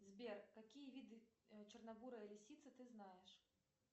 сбер какие виды черно бурой лисицы ты знаешь